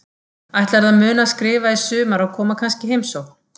Ætlarðu að muna að skrifa í sumar og koma kannski í heimsókn?